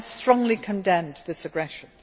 I have strongly condemned this aggression.